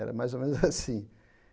Era mais ou menos assim.